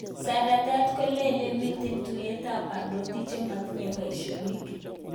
Seretet kolele miten tyuet ap parnotik chematinye paishonik